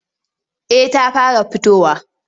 Eh ta fara fitowa.